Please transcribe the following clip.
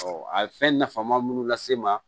a ye fɛn nafama munnu lase n ma